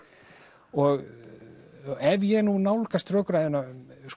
og ef ég nú nálgast rökræðuna